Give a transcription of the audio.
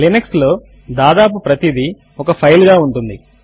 Linux లో దాదాపు ప్రతిదీ ఒక ఫైల్ గా ఉంటుంది